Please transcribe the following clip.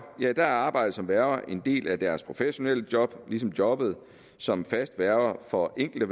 er arbejdet som værge en del af deres professionelle job ligesom jobbet som fast værge for enkelte